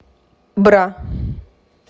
бра